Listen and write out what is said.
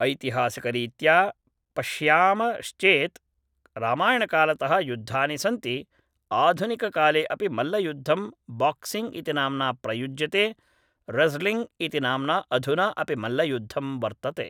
ऐतिहासिकरीत्या पश्यामश्चेत् रामायणकालतः युद्धानि सन्ति आधुनिककाले अपि मल्लयुद्धं बाक्सिङ्ग्‌ इति नाम्ना प्रयुज्यते रज़्लिङ्ग्‌ इति नाम्ना अधुना अपि मल्लयुद्धं वर्तते